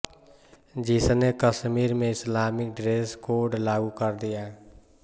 जिसने कश्मीर में Islamic dress code लागू कर दिया